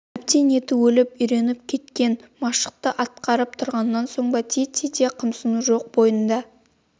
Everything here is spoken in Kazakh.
әбден еті өліп үйреніп кеткен машықты атқарып тұрғаннан соң ба тиіттей де қымсыну жоқ бойында